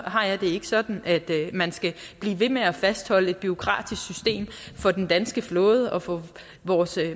har jeg det ikke sådan at man skal blive ved med at fastholde et bureaukratisk system for den danske flåde og for vores